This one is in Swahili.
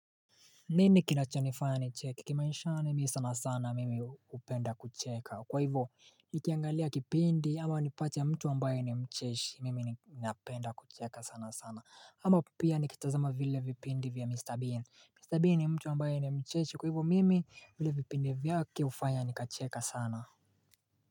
Mimi kinachonifanya nicheki kimaishani sana sana mimi hupenda kucheka kwa hivyo Nikiangalia kipindi ama nimpate mtu ambaye ni mcheshi mimi napenda kucheka sana sana ama pia nikitazama vile vipindi vya Mr Bean Mr Bean ni mtu ambaye ni mcheshi kwa hivyo mimi vile vipindi vyake hufanya nikacheka sana.